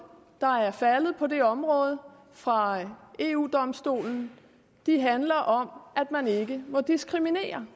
der er faldet på det område fra eu domstolen handler om at man ikke må diskriminere